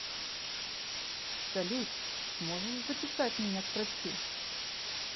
салют сможешь записать меня к врачу